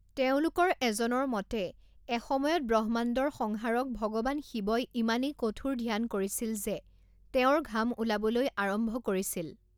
তেওঁলোকৰ এজনৰ মতে, এসময়ত ব্ৰহ্মাণ্ডৰ সংহাৰক ভগৱান শিৱই ইমানেই কঠোৰ ধ্যান কৰিছিল যে তেওঁৰ ঘাম ওলাবলৈ আৰম্ভ কৰিছিল।